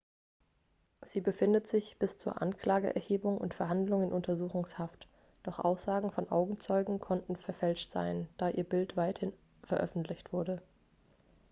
sie befindet sich bis zur anklageerhebung und verhandlung in untersuchungshaft doch aussagen von augenzeugen könnten verfälscht sein da ihr bild weithin veröffentlicht wurde